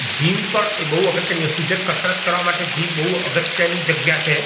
Gym પણ એ બોવ અગત્યની વસ્તુ છે કસરત કરવા માટે જીમ બોવ અગત્યની જગ્યા છે.